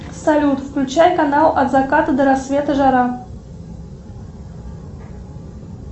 салют включай канал от заката до рассвета жара